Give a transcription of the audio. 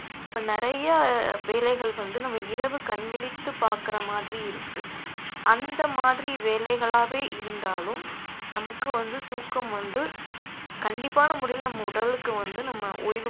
இப்ப நிறையா வேலைகள் வந்து நம்ம இரவு கண் விழித்து பார்க்கிற மாதிரி இருக்கு அந்த மாதிரி வேலைகளாவே இருந்தாலும் நமக்கு வந்து தூக்கம் வந்து கண்டிப்பான முறையில நம்ம உடலுக்கு வந்து நம்ம ஓய்வு